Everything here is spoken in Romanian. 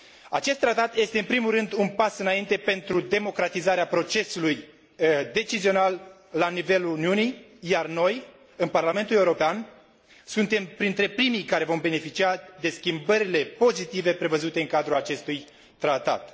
Acest tratat este în primul rând un pas înainte pentru democratizarea procesului decizional la nivelul Uniunii, iar noi, în Parlamentul European, suntem printre primii care vom beneficia de schimbările pozitive prevăzute în cadrul acestui tratat.